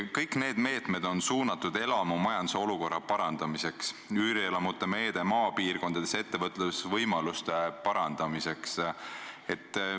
Kõik need meetmed on suunatud elamumajanduse olukorra parandamisele, üürielamute meede on mõeldud maapiirkonnas ettevõtlusvõimaluste parandamiseks.